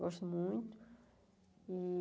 Gosto muito.